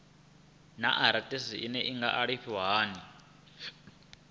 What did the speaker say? naa arthritis i nga alafhiwa hani